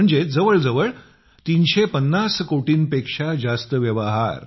म्हणजेच जवळजवळ 350 कोटींपेक्षा जास्त व्यवहार